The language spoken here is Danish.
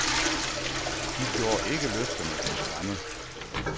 De gjorde ikke løfterne til skamme.